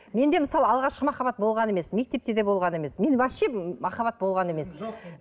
менде мысалы алғашқы махаббат болған емес мектепте де болған емес менде вообще махаббат болған емес